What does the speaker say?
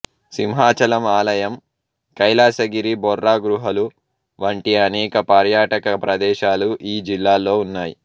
సింహాచలం ఆలయం కైలాసగిరి బొర్రా గుహలు వంటి అనేక పర్యాటక ప్రదేశాలు ఈ జిల్లాలో ఉన్నాయి